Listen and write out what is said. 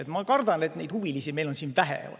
Ehkki ma kardan, et neid huvilisi on meil siin vähe.